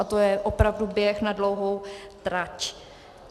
A to je opravdu běh na dlouhou trať.